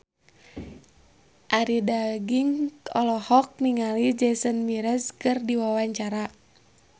Arie Daginks olohok ningali Jason Mraz keur diwawancara